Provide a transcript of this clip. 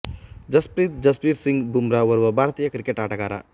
ಜಸ್ಪ್ರೀತ್ ಜಸ್ಬೀರ್ ಸಿಂಗ್ ಬುಮ್ರಾ ಓರ್ವ ಭಾರತೀಯ ಕ್ರಿಕೆಟ್ ಆಟಗಾರ